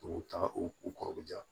U ta u kɔrɔ ja